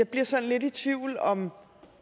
bliver sådan lidt i tvivl om